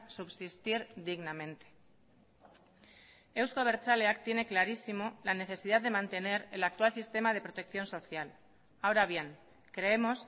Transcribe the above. subsistir dignamente euzko abertzaleak tiene clarísimo la necesidad de mantener el actual sistema de protección social ahora bien creemos